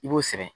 I b'o sɛbɛn